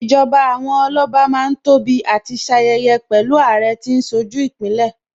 Ìjọba àwọn Ọlọ́ba Má ń tóbi àti ṣayẹyẹ pẹ̀lú Àrẹ tí ń ṣojú Ìpínlẹ̀